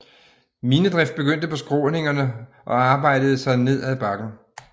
Minedrift begyndte på skråningerne og arbejdede sig ned ad bakken